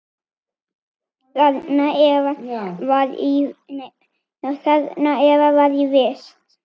Þarna Eva var í vist.